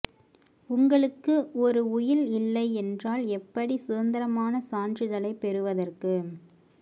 உங்களுக்கு ஒரு உயில் இல்லை என்றால் எப்படி சுதந்தரமான சான்றிதழைப் பெறுவதற்கு